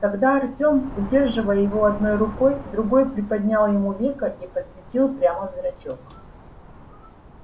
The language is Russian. тогда артём удерживая его одной рукой другой приподнял ему веко и посветил прямо в зрачок